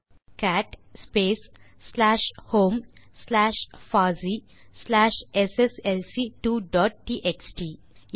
ஆகவே டைப் செய்க cat space slash home slash பாசி ஸ்லாஷ் எஸ்எஸ்எல்சி2 டாட் டிஎக்ஸ்டி